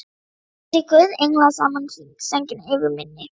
Sitji guðs englar saman í hring, sænginni yfir minni.